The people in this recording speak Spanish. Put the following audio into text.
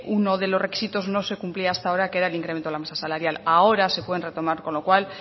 uno de los requisitos no se cumplía hasta ahora que era el incremento de la masa salarial ahora se pueden retomar con lo cual